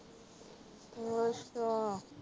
ਅੱਛਾ